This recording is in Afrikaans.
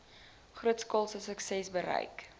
grootskaalse suksesse bereik